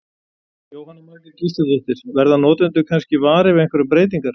Jóhanna Margrét Gísladóttir: Verða notendur kannski varir við einhverjar breytingar?